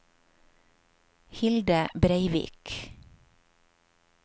Hilde Breivik